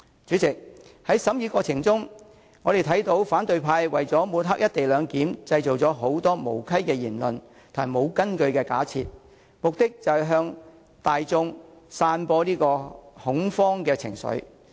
主席，在《條例草案》的審議過程中，我們看到反對派為了抹黑"一地兩檢"，製造很多無稽的言論和沒有根據的假設，目的是向大眾散布恐慌情緒。